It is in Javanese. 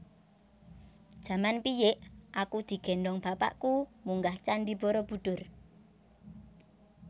Jaman piyik aku digendhong bapakku munggah candi Borobudur